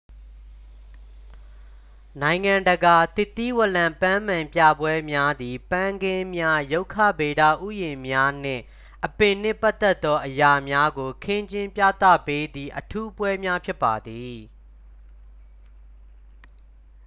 နိုင်ငံတကာ သစ်သီးဝလံပန်းမန်ပြပွဲများသည် ပန်းခင်းများ ရုက္ခဗေဒဥယျာဉ်များနှင့် အပင်နှင့်ပတ်သက်သော အရာများကို ခင်းကျင်းပြသပေးသည့် အထူးပွဲများ ဖြစ်ပါသည်